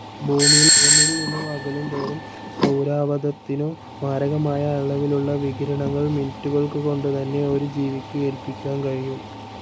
ഭൂമിയിൽ നിന്നു അകലുംതോറും സൌരാവതത്തിനു മാരകമായ അളവിലുള്ള വികിരണങ്ങൾ മിനിറ്റുകൾകൊണ്ടുതന്നെ ഒരു ജീവിക്ക് ഏൽപ്പിക്കാൻ കഴിയും.